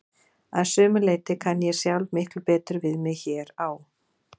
Að sumu leyti kann ég sjálf miklu betur við mig hér á